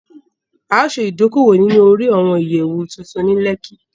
A o ṣe ìdókòwò ní orí àwọn ìyẹ̀wù tuntun ní Lẹ́kí